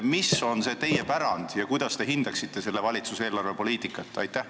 Mis ikkagi on teie pärand ja kuidas te hindaksite selle valitsuse eelarvepoliitikat?